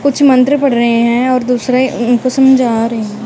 कुछ मंत्र पढ़ रहे हैं और दूसरे उनको समझा रहे।